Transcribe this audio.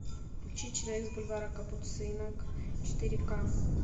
включи человек с бульвара капуцинов четыре ка